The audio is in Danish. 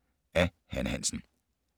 Af Hanne Hansen